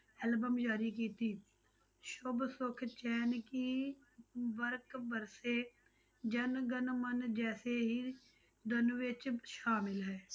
Album ਜਾਰੀ ਕੀਤੀ, ਸੁੱਭ ਸੁੱਖ ਚੈਨ ਕੀ ਵਰਖਾ ਬਰਸੇ, ਜਣ ਗਣ ਮਣ ਜੈਸੇ ਹੀ ਦੋਨਾਂ ਵਿੱਚ ਸ਼ਾਮਲ ਹੈ।